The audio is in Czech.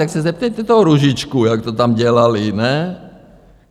Tak se zeptejte toho Růžičky, jak to tam dělali, ne?